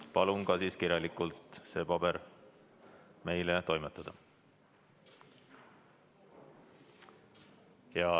Palun siis ka kirjalikult see kinnitus meie kätte toimetada.